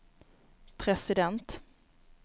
president